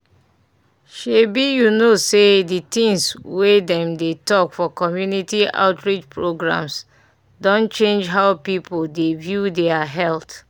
shebi you know say the things wey dem dey talk for community outreach programs don change how people dey view their health